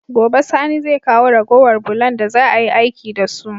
Gobe sani zai kawo ragowar bulon da za ayi aiki da su